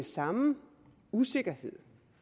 samme usikkerhed